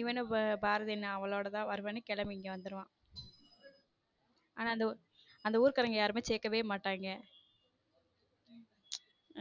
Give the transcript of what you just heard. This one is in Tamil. இவனோ பாரதி அவளோட தான் வருவேன்னு கிளம்பி இங்க வந்துருவான ஆனா அந்த ஊர்காரர்கள் யாரும் சேர்க்கவே மாட்டாங்